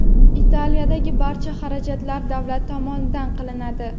Italiyadagi barcha xarajatlar davlat tomonidan qilinadi.